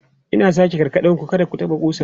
Ina sake gargade ku, kar ku taɓa ƙusan!